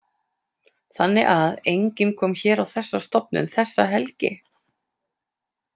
Þannig að enginn kom hér á þessa stofnun þessa helgi?